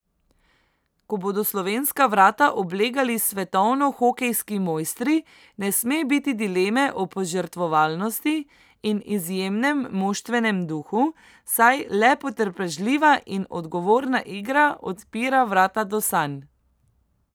Ko bodo slovenska vrata oblegali svetovni hokejski mojstri, ne sme biti dileme o požrtvovalnosti in izjemnem moštvenem duhu, saj le potrpežljiva in odgovorna igra odpira vrata do sanj.